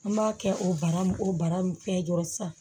An b'a kɛ o bara o bara mun fɛn dɔrɔn sisan